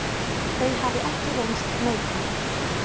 Þau hafi ekki reynst neikvæð.